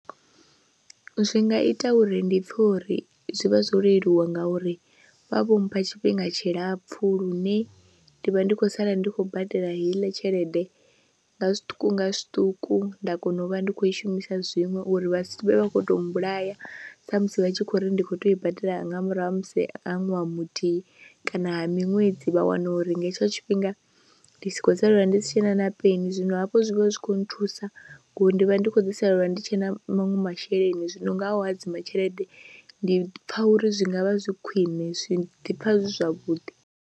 Zwi nga ita uri ndi pfhe uri zwi vha zwo leluwa ngauri vha vho mpha tshifhinga tshilapfhu lune ndi vha ndi khou sala ndi khou badela heiḽa tshelede nga zwiṱuku nga zwiṱuku, nda kona u vha ndi khou i shumisa zwiṅwe uri vha vhe vha khou tou mbulaya musi vha tshi khou ri ndi khou tea u i badela nga murahu ha musi ha ṅwaha muthihi kana miṅwedzi vha wane uri nga hetsho tshifhinga ndi si khou salela ndi si tshe na na peni, zwino hafho zwi vha zwi khou nthusa ngori ndi vha ndi khou ḓi salelwa ndi tshe na maṅwe masheleni, zwino nga u hadzima tshelede ndi pfha uri zwi nga vha zwi khwine zwi ḓi pfha zwavhuḓi.